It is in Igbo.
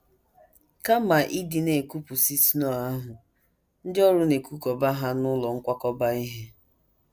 Kama ịdị na - ekupụsị snow ahụ, ndị ọrụ na - ekukọba ha n’ụlọ nkwakọba ihe.